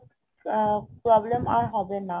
problem আর হবে না